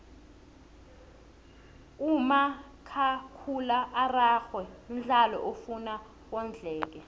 umakhakhula araxhwe mdlalo ofuna wondleke